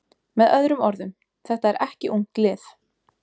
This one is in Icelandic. Með öðrum orðum: Þetta er ekki ungt lið.